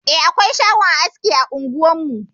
Eh, akwai shagon aski a unguwar mu.